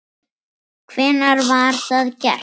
Hvenær var það gert?